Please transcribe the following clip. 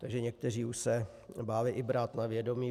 Takže někteří se už báli i brát na vědomí.